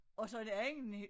Så det andet